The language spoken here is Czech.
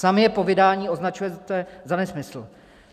Sami je po vydání označujete za nesmysl.